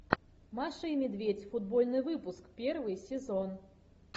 маша и медведь футбольный выпуск первый сезон